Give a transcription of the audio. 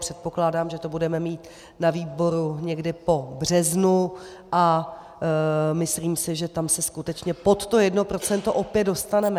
Předpokládám, že to budeme mít na výboru někdy po březnu, a myslím si, že tam se skutečně pod to 1 % opět dostaneme.